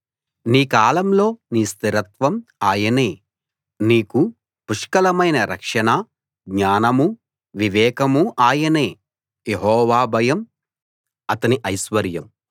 నీ కాలంలో నీ స్థిరత్వం ఆయనే నీకు పుష్కలమైన రక్షణ జ్ఞానమూ వివేకమూ ఆయనే యెహోవా భయం అతని ఐశ్వర్యం